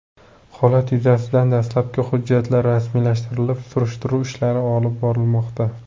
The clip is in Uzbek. Holat yuzasidan dastlabki hujjatlar rasmiylashtirilib, surishtiruv ishlari olib borilmoqda.